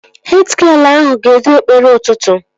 Hed gịel ahụ ga-edu ekpere ụtụtụ